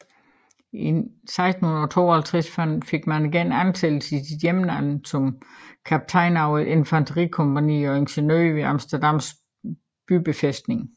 I 1652 fik han igen ansættelse i sit hjemland som kaptajn over et infanterikompagni og ingeniør ved Amsterdams bybefæstning